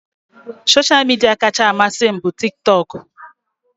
Soshal midia kacha amasị m bụ tik tok